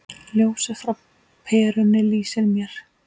Ljósið frá perunni lýsir mér.